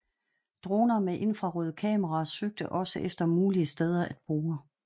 Droner med infrarøde kameraer søgte også efter mulige steder at bore